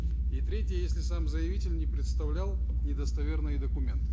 и третье если сам заявитель не предоставлял недостоверные документы